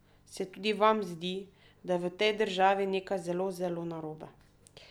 Se tudi vam zdi, da je v tej državi nekaj zelo zelo narobe?